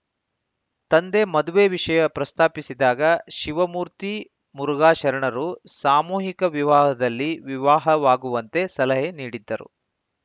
ತಂದೆ ಮದುವೆ ವಿಷಯ ಪ್ರಸ್ತಾಪಿಸಿದಾಗ ಶಿವಮೂರ್ತಿ ಮುರುಘಾಶರಣರು ಸಾಮೂಹಿಕ ವಿವಾಹದಲ್ಲಿ ವಿವಾಹವಾಗುವಂತೆ ಸಲಹೆ ನೀಡಿದ್ದರು